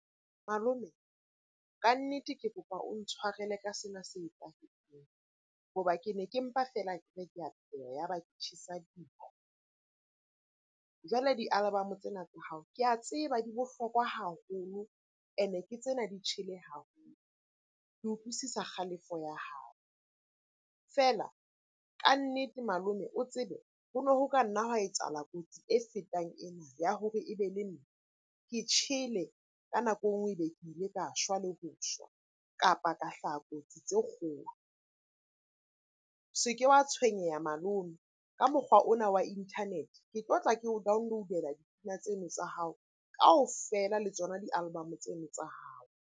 Malome, kannete ke kopa o ntshwarele ka sena se etsahetseng. Ho ba ke ne ke mpa feela ya ba ke tjhesa . Jwale di-album-o tsena tsa hao ke a tseba di bohlokwa haholo, ene ke tsena di tjhele haholo. Ke utlwisisa kgalefo ya hao. Feela kannete malome o tsebe ho no ho ka nna hwa etsahala kotsi e fetang ena ya hore e be le nna ke tjhele ka nako e nngwe e be ke ile ka shwa le ho shwa, kapa ka hlaha kotsi tse kgolo. Se ke wa tshwenyeha malome ka mokgwa ona wa internet-e, ke tlotla ke o download-ea dipina tseno tsa hao kaofela le tsona di-album-o tseno tsa hao.